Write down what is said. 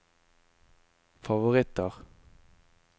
favoritter